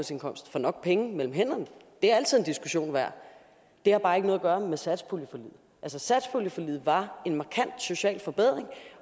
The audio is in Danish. nok penge mellem hænderne det er altid en diskussion værd det har bare ikke noget at gøre med satspuljeforliget satspuljeforliget var en markant social forbedring